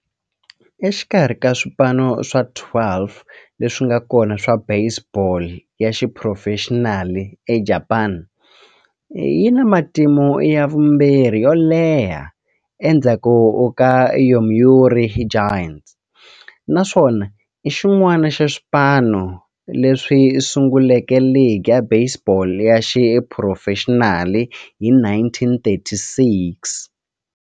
Exikarhi ka swipano swa 12 leswi nga kona swa baseball ya xiphurofexinali eJapani, yi na matimu ya vumbirhi yo leha endzhaku ka Yomiuri Giants, naswona i xin'wana xa swipano leswi sunguleke ligi ya baseball ya xiphurofexinali hi 1936.